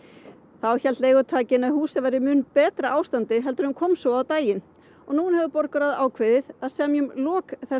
þá hélt leigutakinn að húsið væri í mun betra ástandi en kom svo á daginn og núna hefur borgarráð ákveðið að semja um lok þessa